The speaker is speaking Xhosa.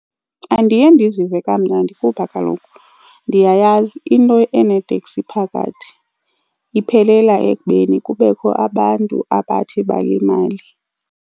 Andiye ndizive kamnandi kuba kaloku ndiyayazi into eneeteksi phakathi iphelela ekubeni kubekho abantu abathi balimale.